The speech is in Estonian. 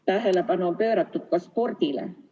Tähelepanu on pööratud ka spordile.